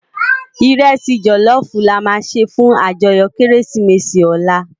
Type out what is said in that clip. Irèsi jòlòfú làmá sé fún àjòyò Kérésimési òlá